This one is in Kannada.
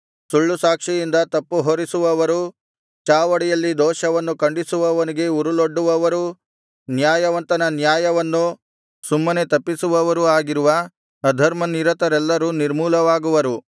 ಸುಳ್ಳುಸಾಕ್ಷಿಯಿಂದ ತಪ್ಪು ಹೊರಿಸುವವರೂ ಚಾವಡಿಯಲ್ಲಿ ದೋಷವನ್ನು ಖಂಡಿಸುವವನಿಗೆ ಉರುಲೊಡ್ಡುವವರೂ ನ್ಯಾಯವಂತನ ನ್ಯಾಯವನ್ನು ಸುಮ್ಮನೆ ತಪ್ಪಿಸುವವರೂ ಆಗಿರುವ ಅಧರ್ಮನಿರತರೆಲ್ಲರೂ ನಿರ್ಮೂಲವಾಗುವರು